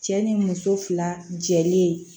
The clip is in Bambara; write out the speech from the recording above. Cɛ ni muso fila jɛlen